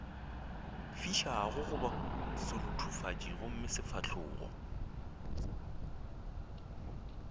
fišago goba seruthufatši gomme sefahlogo